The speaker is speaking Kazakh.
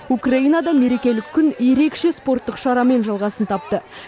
украинада мерекелік күн ерекше спорттық шарамен жалғасын тапты